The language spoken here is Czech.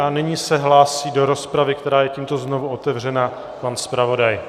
A nyní se hlásí do rozpravy, která je tímto znovu otevřena, pan zpravodaj.